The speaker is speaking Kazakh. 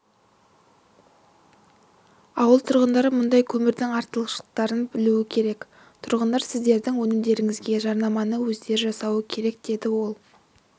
ауыл тұрғындары мұндай көмірдің артықшылықтарын білулері керек тұрғындар сіздердің өнімдеріңізге жарнаманы өздері жасауы керек деді ол